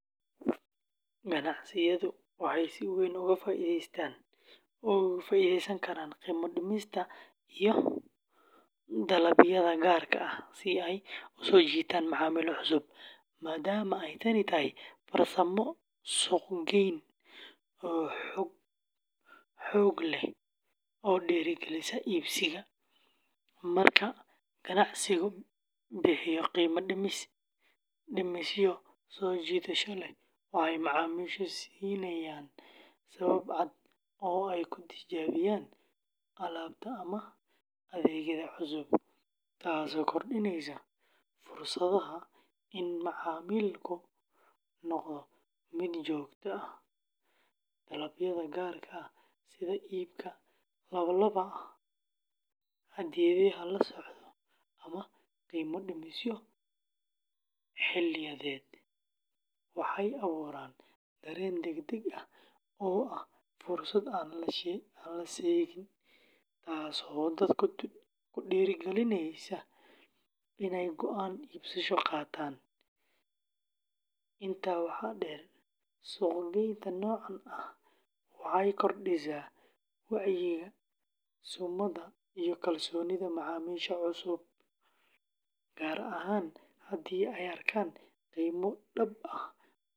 Ganacsiyadu waxay si weyn uga faa'iideysan karaan qiimo-dhimisyada iyo dalabyada gaarka ah si ay u soo jiitaan macaamiil cusub, maadaama ay tani tahay farsamo suuq-geyn oo xoog leh oo dhiirrigelisa iibsiga. Marka ganacsigu bixiyo qiimo-dhimisyo soo jiidasho leh, waxay macaamiisha siinayaan sabab cad oo ay ku tijaabiyaan alaabta ama adeegyada cusub, taasoo kordhinaysa fursadda in macaamiilku noqdo mid joogto ah. Dalabyada gaarka ah sida iibka laba-laab ah, hadiyadaha la socda, ama qiimo-dhimisyo xilliyadeed waxay abuuraan dareen degdeg ah oo ah fursad aan la seegin, taasoo dadka ku dhiirrigelisa inay go’aan iibsasho qaataan. Intaa waxaa dheer, suuq-geynta noocan ah waxay kordhisaa wacyiga summada iyo kalsoonida macaamiisha cusub, gaar ahaan haddii ay arkaan qiimo dhab ah oo la tartami kara suuqa.